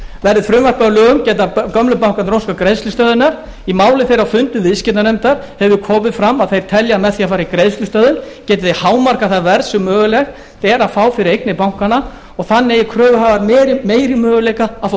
verði frumvarpið að lögum geta gömlu bankarnir óskað greiðslustöðvunar í máli þeirra á fundum viðskiptanefndar hefur komið fram að þeir telja með því að fara í greiðslustöðvun geti þeir hámarkað það verð sem mögulegt er að fá fyrir eignir bankanna og þannig eiga kröfuhafar meiri möguleika að fá